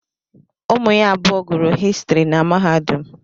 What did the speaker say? Ụmụ ya abụọ gụrụ Histiri na mahadum.